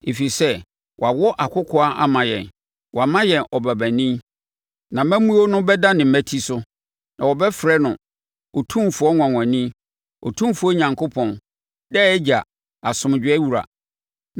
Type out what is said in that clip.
Ɛfiri sɛ, wɔawo akokoaa ama yɛn, wɔama yɛn ɔbabanin, na amammuo no bɛda ne mmati so. Na wɔbɛfrɛ no Ɔfotufoɔ Nwanwani, Otumfoɔ Onyankopɔn, Daa Agya, Asomdwoeɛ Wura.